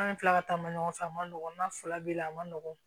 An bɛ tila ka taa ma ɲɔgɔn fɛ a man nɔgɔ n'a fila bɛ la a man nɔgɔn